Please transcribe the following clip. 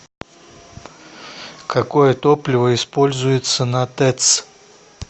какое топливо используется на тэц